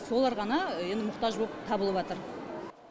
солар ғана енді мұқтаж боп табылыватыр